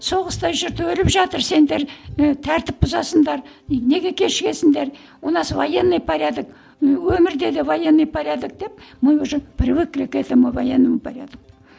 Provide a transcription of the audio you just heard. соғыста жүрді өліп жатыр сендер і тәртіп бұзасыңдар неге кешігесіңдер у нас военный порядок ы өмірде де военный порядок деп мы уже привыкли к этому военному порядку